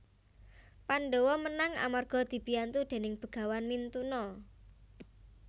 Pandhawa menang amarga dibiyantu déning Begawan Mintuna